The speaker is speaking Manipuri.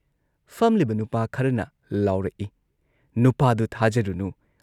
ꯐꯝꯂꯤꯕ ꯅꯨꯄꯥ ꯈꯔꯅ ꯂꯥꯎꯔꯛꯏ‑ "ꯅꯨꯄꯥꯗꯨ ꯊꯥꯖꯔꯨꯅꯨ ꯫